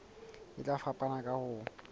e tla fapana ka ho